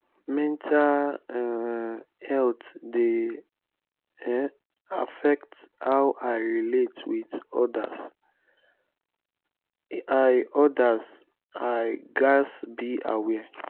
mental um health dey um affect how i relate with others; i others; i gats be aware.